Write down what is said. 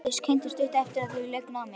Þau kynntust stuttu eftir að hún lauk námi.